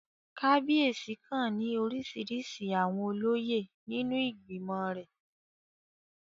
Kábíyèsí kan ní orísirísi àwọn olóyè nínú ìgbìmọ̀ rẹ̀